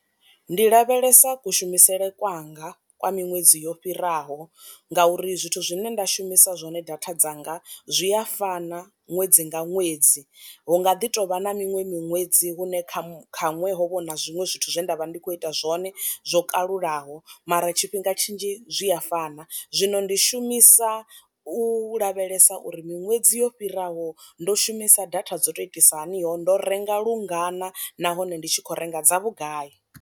Ndi lavhelesa kushumisele kwanga kwa miṅwedzi yo fhiraho ngauri zwithu zwine nda shumisa zwone data dzanga zwi a fana ṅwedzi nga ṅwedzi, hu nga ḓi tovha na miṅwe miṅwedzi hune kha kha ṅwe ho vha na zwiṅwe zwithu zwe nda vha ndi kho ita zwone zwo kalulaho mara tshifhinga tshinzhi zwi a fana. Zwino ndi shumisa u lavhelesa uri miṅwedzi yo fhiraho ndo shumisa data dzo to itisa hani ho ndo renga lungana nahone ndi tshi kho renga dza vhugai.